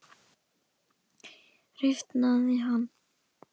Rifnaði hann?